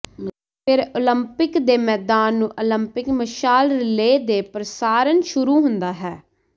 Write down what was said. ਫਿਰ ਓਲੰਪਿਕ ਦੇ ਮੈਦਾਨ ਨੂੰ ਓਲੰਪਿਕ ਮਸ਼ਾਲ ਰਿਲੇ ਦੇ ਪ੍ਰਸਾਰਣ ਸ਼ੁਰੂ ਹੁੰਦਾ ਹੈ